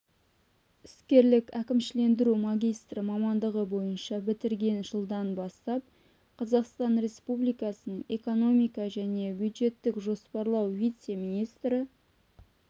іскерлік әкімшілендіру магистрі мамандығы бойынша бітірген жылдан бастап қазақстан республикасының экономика және бюджеттік жоспарлау вице-министрі